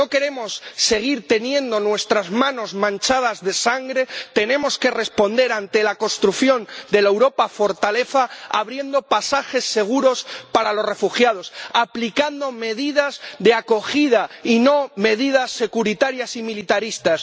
Si no queremos seguir teniendo nuestras manos manchadas de sangre, tenemos que responder, ante la construcción de la Europa fortaleza, abriendo pasajes seguros para los refugiados, aplicando medidas de acogida y no medidas securitarias y militaristas.